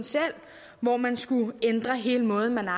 hvor man skulle ændre hele måden at